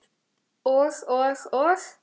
Og og og?